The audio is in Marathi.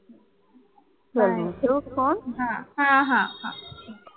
ठेवू फोन हा हा हा